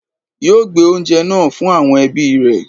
Yóò gbé oúnjẹ náà fun àwọn ẹbí rẹ